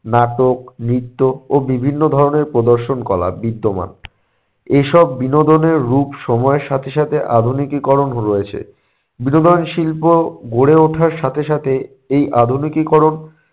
নাটক, নৃত্য ও বিভিন্ন ধরনের প্রদর্শন কলা বিদ্যমান এসব বিনোদনের রূপ সময়ের সাথে সাথে আধুনিকিকীকরণও রয়েছে। বিনোদন শিল্প গড়ে ওঠার সাথে সাথে এই আধুনিকীকরণ